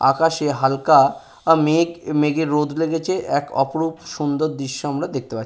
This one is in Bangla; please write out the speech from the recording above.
আকাশে হালকা মেঘ মেঘে রোদ লেগেছে এক অপরূপ সুন্দর দৃশ্য আমরা দেখতে পাই।